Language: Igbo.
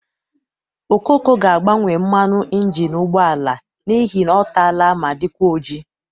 Okoko ga-agbanwe mmanụ ịnjịnị ụgbọala a n'ihi ọ tala ma dịkwa ojii.